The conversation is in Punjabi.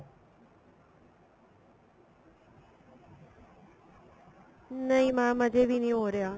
ਨਹੀਂ mam ਅਜੇ ਵੀ ਨਹੀਂ ਹੋ ਰਿਹਾ